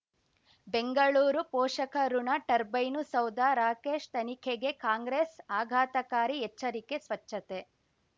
ಬೆಂಗಳೂರು ಪೋಷಕಋಣ ಟರ್ಬೈನು ಸೌಧ ರಾಕೇಶ್ ತನಿಖೆಗೆ ಕಾಂಗ್ರೆಸ್ ಆಘಾತಕಾರಿ ಎಚ್ಚರಿಕೆ ಸ್ವಚ್ಛತೆ